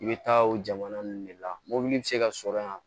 I bɛ taa o jamana ninnu de la mobili bɛ se ka sɔrɔ yan